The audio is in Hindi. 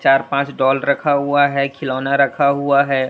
चार पांच डॉल रखा हुआ है खिलौना रखा हुआ है।